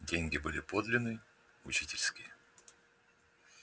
деньги были подлинные учительские